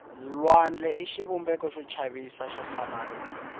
lwandle i xivumbeko xo chavisa xo hlamarisa